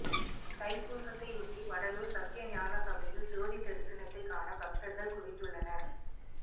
தைப்பூசத்தையொட்டி வடலூர் சத்திய ஞானசபையில் ஜோதி தரிசனத்தைக் காண பக்தர்கள் குவிந்துள்ளனர்